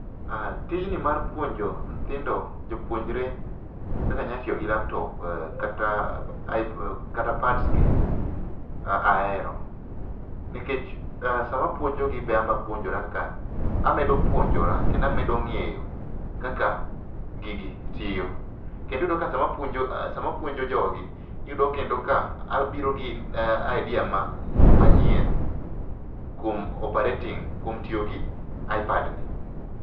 Tijni mar puonjo nyithindo, jopuonjre kaka nya tiyo gi laptop kata pads gi ahero nikech sama apuonjogi be anbe apuonjora ka, amedo puonjora kendo amedo ng'eyo kaka gigi tiyo .Kendo iyudo ka sama apuonio jogi iyudo kendo ka abiro gi idea ma, manyien kuom operating, kuom tiyo gi ipad ni